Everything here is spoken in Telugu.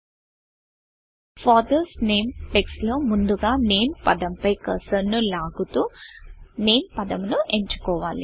ఫాదర్స్ NAMEఫాదర్స్ నేమ్ టెక్స్ట్ లో ముందుగా NAMEనేమ్ పదము పై కర్సర్ కర్సర్ను లాగుతూ NAMEనేమ్ పదమును ఎంచుకోవాలి